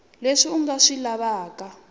leswi a nga swi lavaka